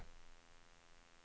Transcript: itläs det